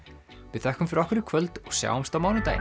við þökkum fyrir okkur í kvöld og sjáumst á mánudaginn